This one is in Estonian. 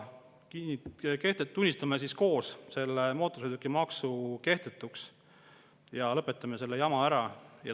Tunnistame koos selle mootorsõidukimaksu kehtetuks ja lõpetame selle jama ära!